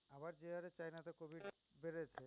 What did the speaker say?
but যে হাড়ে China তে covid বেড়েছে